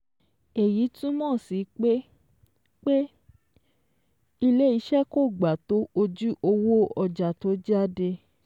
Èyí túmọ̀ sí pé pé ilé-iṣẹ́ kò gba tó ojú owó ọjà tó jáde